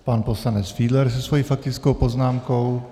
Pan poslanec Fiedler se svou faktickou poznámkou.